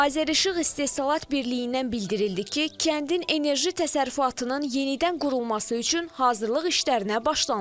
Azərişıq İstehsalat Birliyindən bildirildi ki, kəndin enerji təsərrüfatının yenidən qurulması üçün hazırlıq işlərinə başlanılıb.